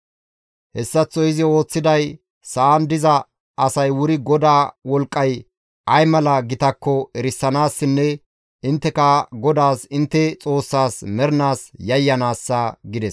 Hessaththo izi ooththiday sa7an diza asay wuri GODAA wolqqay ay mala gitakko eranaassinne intteka GODAAS intte Xoossaas mernaas yayyanaassa» gides.